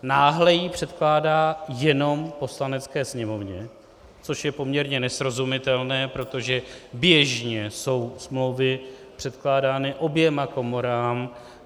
Náhle ji předkládá jenom Poslanecké sněmovně, což je poměrně nesrozumitelné, protože běžně jsou smlouvy předkládány oběma komorám.